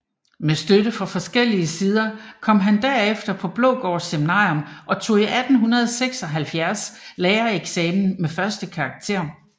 Med støtte fra forskellige sider kom han derefter på Blågård Seminarium og tog i 1876 lærereksamen med første karakter